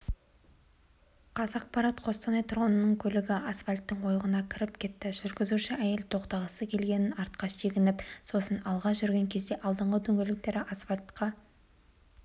қазақпарат қостанай тұрғынының көлігі астфальттың ойығына кіріп кетті жүргізуші әйел тоқтағысы келгенін артқа шегініп сосын алға жүрген кезде алдыңғы дөңгелектері асфальтқа